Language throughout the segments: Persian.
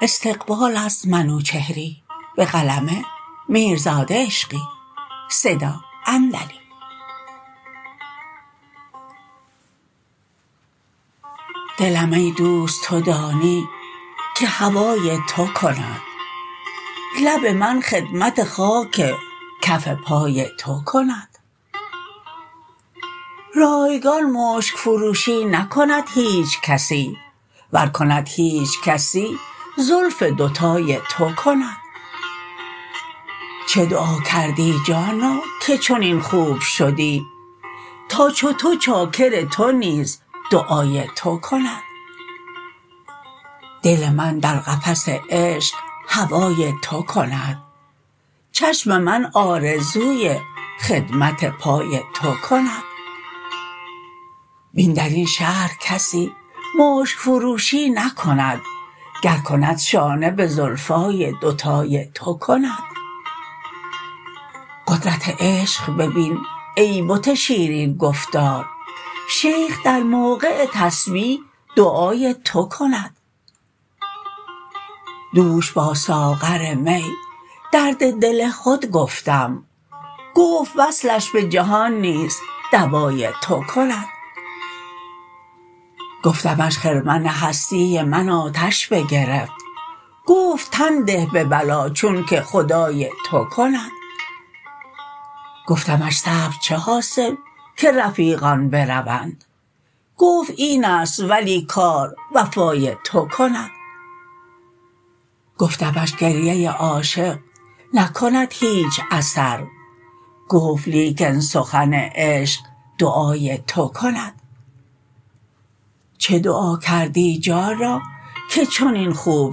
دلم ای دوست تو دانی که هوای تو کند لب من خدمت خاک کف پای تو کند رایگان مشک فروشی نکند هیچ کسی ور کند هیچ کسی زلف دوتای تو کند چه دعا کردی جانا که چنین خوب شدی تا چو تو چاکر تو نیز دعای تو کند دل من در قفس عشق هوای تو کند چشم من آرزوی خدمت پای تو کند بین درین شهر کسی مشک فروشی نکند گر کند شانه به زلفان دوتای تو کند قدرت عشق ببین ای بت شیرین گفتار شیخ در موقع تسبیح دعای تو کند دوش با ساغر می درد دل خود گفتم گفت وصلش به جهان نیز دوای تو کند گفتمش خرمن هستی من آتش بگرفت گفت تن ده به بلا چون که خدای تو کند گفتمش صبر چه حاصل که رفیقان بروند گفت اینست ولی کار وفای تو کند گفتمش گریه عاشق نکند هیچ اثر گفت لیکن سخن عشق دعای تو کند چه دعا کردی جانا که چنین خوب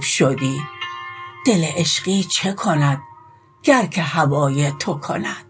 شدی دل عشقی چه کند گر که هوای تو کند